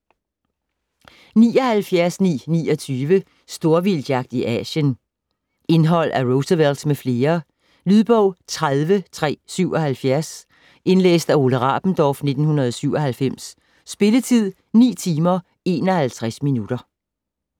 79.929 Storvildtjagt i Asien Indhold af Roosevelt med flere. Lydbog 30377 Indlæst af Ole Rabendorf, 1997. Spilletid: 9 timer, 51 minutter.